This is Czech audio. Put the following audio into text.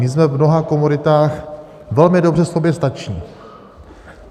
My jsme v mnoha komoditách velmi dobře soběstační.